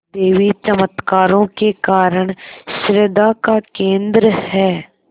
देवी चमत्कारों के कारण श्रद्धा का केन्द्र है